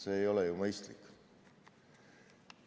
See ei ole mõistlik.